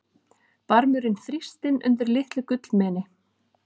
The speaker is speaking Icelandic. Barmurinn þrýstinn undir litlu gullmeni.